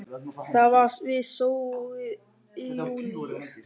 Það var við Sogið í júlí.